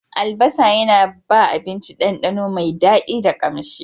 Albasa yana ba abinci dandano mai daɗi da ƙamshi.